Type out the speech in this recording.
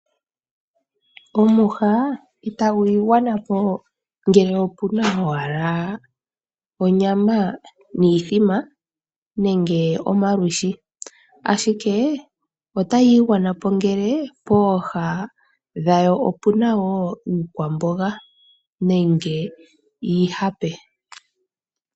Omwiha itagu igwana po ngele opu na owala onyama niithima nenge omalwiishi. Ashike, otayi igwana po ngele pooha dhayo opu na wo iikwamboga nenge iihape.